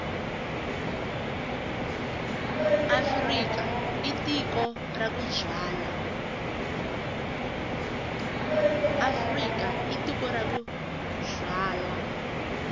afrika i tiko ra ku byala